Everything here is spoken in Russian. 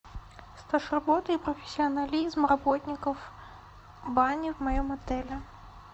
стаж работы и профессионализм работников бани в моем отеле